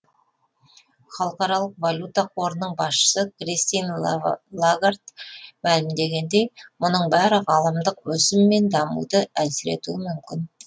халықаралық валюта қорының басшысы кристин лагард мәлімдегендей мұның бәрі ғаламдық өсім мен дамуды әлсіретуі мүмкін